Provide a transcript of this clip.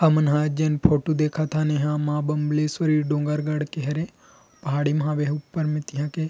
हमन हा जेन फोटो देखत हन एहा माँ बम्ब्लेशरी डोंगरगढ़ के हरे पहाड़ी मा हावे ऊपर में तिहा के--